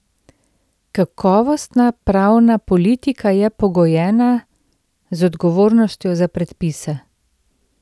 Kakovostna pravna politika je pogojena z odgovornostjo za predpise.